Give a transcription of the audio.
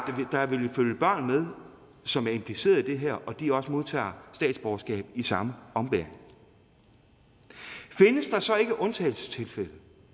der vil følge børn med som er impliceret i det her og at de også modtager statsborgerskab i samme ombæring findes der så ikke undtagelsestilfælde